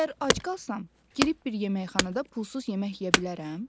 Əgər ac qalsam, girib bir yeməxanada pulsuz yemək yeyə bilərəm?